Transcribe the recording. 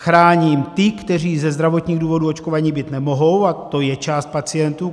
Chráním ty, kteří ze zdravotních důvodů očkováni být nemohou, a to je část pacientů.